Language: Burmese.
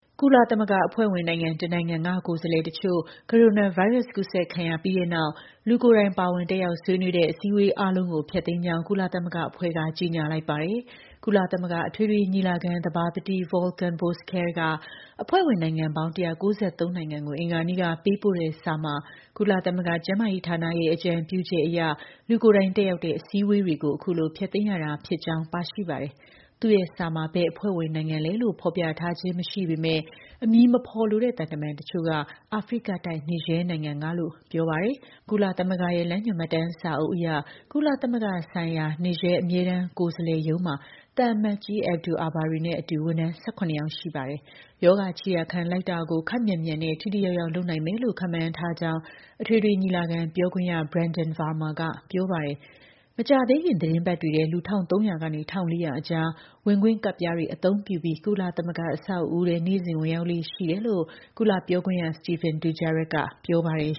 ကုလသမဂ္ဂ အဖွဲ့ဝင်နိုင်ငံ တစ်နိုင်ငံက ကိုယ်စားလှယ်တချို့ ကိုရိုနာဗိုင်းရပ်စ် ကူးစက်ခံရပြီးတဲ့နောက် လူကိုယ်တိုင် ပါဝင်တက်ရောက် ဆွေးနွေးတဲ့ အစည်းအဝေး အားလုံးကို ဖျက်သိမ်းကြောင်း ကုလသမဂ္ဂအဖွဲ့က ကြေညာလိုက်ပါတယ်။ ကုလသမဂ္ဂ အထွေထွေ ညီလာခံ သဘာပတိ Volkan Bozkir က အဖွဲ့ဝင် နိုင်ငံ ၁၉၃ နိုင်ငံကို အင်္ဂါနေ့က ပေးပို့တဲ့စာမှာ ကုလ သမဂ္ဂ ကျန်းမာရေးဌာနရဲ့ အကြံပြုချက်အရ လူကိုယ်တိုင်တက်ရောက်တဲ့ အစည်းအဝေးတွေကို အခုလို ဖျက်သိမ်းရတာ ဖြစ်ကြောင်း ပါရှိပါတယ်။ သူ့ရဲ့ စာမှာ ဘယ် အဖွဲ့ဝင်နိုင်ငံလည်းလို့ ဖော်ပြထားခြင်း မရှိပေမဲ့ အမည်မဖော်လိုတဲ့ သံတမန် တချို့က အာဖရိကတိုက်က Niger နိုင်ငံကလို့ ပြောပါတယ်။ ကုလသမဂ္ဂရဲ့ လမ်းညွှန်မှတ်တမ်းစာအုပ်အရ ကုလသမဂ္ဂဆိုင်ရာ Niger အမြဲတမ်း ကိုယ်စားလှယ် ရုံးမှာသံအမတ်ကြီး Abdou Abarry နဲ့အတူ ဝန်ထမ်း ၁၇ ယောက် ရှိပါတယ်။ ရောဂါ ခြေရာခံလိုက်တာကို ခပ်မြန်မြန်နဲ့ ထိထိရောက်ရောက် လုပ်နိုင်မယ်လို့ ခန့်မှန်းထားတယ်လို့ အထွေထွေ ညီလာခံ ပြောခွင့်ရ Brenden Varma က ပြောပါတယ်။ မကြာသေးခင် သီတင်းပတ်တွေထဲ လူ ၁,၃၀၀ ကနေ ၁,၄၀၀ အကြား ဝင်ခွင့်ကဒ်ပြားတွေအသုံးပြုပြီး ကုလသမဂ္ဂ အဆောက်အဦးထဲ နေ့စဉ် ဝင်ရောက်လေ့ရှိတယ်လို့လည်း ကုလ ပြောခွင့်ရ Stephane Dujarric က ပြောပါတယ်